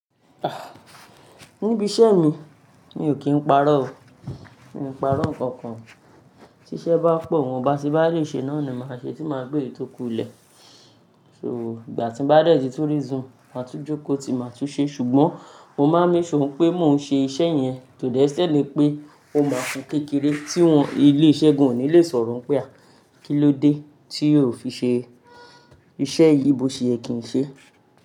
Ah! Níbi iṣẹ́ mi, mi ò kí n parọ́ o. Mi n parọ́ nǹkan kan, tí iṣẹ́ bá pọ̀, nwọn bá tí n bá le ṣe náà ni màá ṣe, tí màá gbé ètò kùlẹ̀. So, ìgbà tí mo bá dẹ tu resume, màá tún jókòó, tí màá tún ṣe. Ṣùgbọ́n mo máa n make sure pé mo ma ṣe iṣẹ́ yẹn to the extent ipé ó máa kú kékeré tí wọ́n ilé iṣẹ́ gan ò ní le sọ̀rọ̀ pé à, kí ló dé tí o ò fi ṣe iṣẹ́ yìí bó ṣe èyí kì n ṣe.